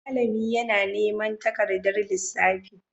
Malami yana neman takardar lissafi.